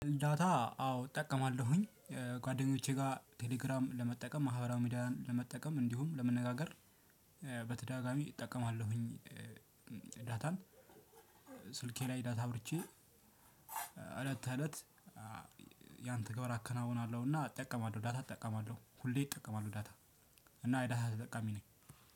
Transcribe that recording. ዳታ አዎ እጠቀማለሁኝ ጓደኞቼ ጋር ቴሌግራም ለመጠቀም ማህበራዊ ሚዲያን ለመጠቀም እንዲሁም ለመነጋገር በተደጋጋሚ እጠቀማለሁኝ። ዳታን ስልኬ ላይ ዳታ አብርቼ እለት እለት ያንተግባር አከናውናለሁና እጠቀማለሁ። ዳታ እጠቀማለሁ ሁሌ እጠቀማለሁ ዳታ እና ዳታ ተጠቃሚ ነኝ።